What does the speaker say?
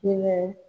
Hinɛ